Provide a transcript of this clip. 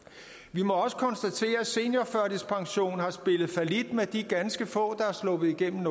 vi må også konstatere at seniorførtidspensionen har spillet fallit med de ganske få der er sluppet igennem